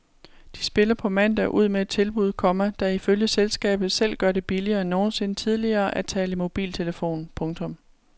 De spiller på mandag ud med et tilbud, komma der ifølge selskabet selv gør det billigere end nogensinde tidligere at tale i mobiltelefon. punktum